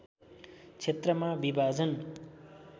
क्षेत्रमा विभाजन